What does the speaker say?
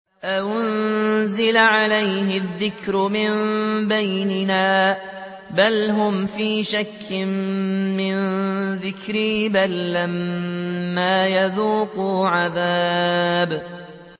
أَأُنزِلَ عَلَيْهِ الذِّكْرُ مِن بَيْنِنَا ۚ بَلْ هُمْ فِي شَكٍّ مِّن ذِكْرِي ۖ بَل لَّمَّا يَذُوقُوا عَذَابِ